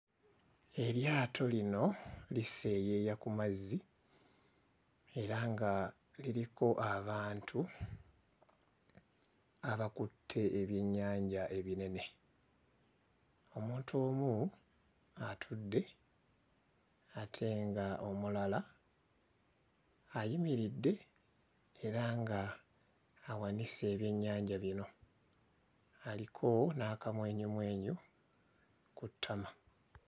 Eryato lino liseeyeeya ku mazzi era nga liriko abantu abakutte ebyennyanja ebinene. Omuntu omu atudde ate nga omulala ayimiridde era nga awanise ebyennyanja bino aliko n'akamwenyumwenyu ku ttama.